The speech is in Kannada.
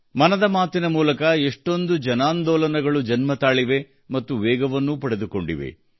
ಮನದ ಮಾತಿನ ಮೂಲಕ ಎಷ್ಟೊಂದು ಜನಾಂದೋಲನಗಳು ಜನ್ಮತಾಳಿವೆ ಮತ್ತು ವೇಗವನ್ನೂ ಪಡೆದುಕೊಂಡಿವೆ